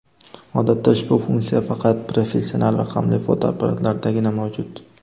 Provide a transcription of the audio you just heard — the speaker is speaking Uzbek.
Odatda ushbu funksiya faqat professional raqamli fotoapparatlardagina mavjud.